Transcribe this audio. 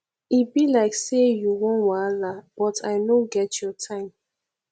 e be like say you wan wahala but i no get your time